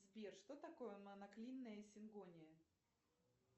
сбер что такое моноклинная сингония